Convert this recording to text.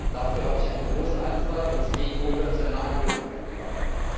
Dafür habe ich eine große Anzahl von stakeholdern zu einer Anhörung eingeladen.